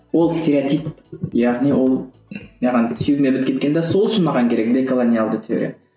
ол стереотип яғни ол маған сүйегіме бітіп кеткен де сол үшін маған керек деколониялды теория